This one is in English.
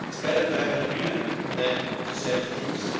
works. It is better to have an agreement than to send troops.